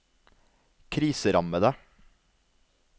kriserammede